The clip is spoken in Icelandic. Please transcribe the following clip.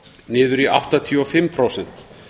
niður í áttatíu og fimm prósent